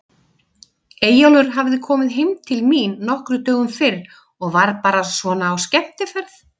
Eyjólfur hafði komið heim til mín nokkrum dögum fyrr og var bara svona á skemmtiferð.